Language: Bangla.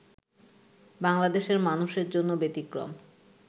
বাংলাদেশের মানুষের জন্য ব্যতিক্রম